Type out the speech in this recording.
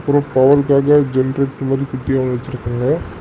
ஒரு ஜெனரேட்டர் மாரி குட்டியா வச்சுருக்கறாங்க.